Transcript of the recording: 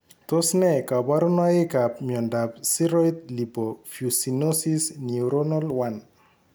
Tos ne kaborunoikap miondop Ceroid lipofuscinosis neuronal 1?